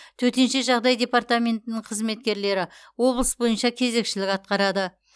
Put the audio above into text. төтенше жағдай департаментінің қызметкерлері облыс бойынша кезекшілік атқарады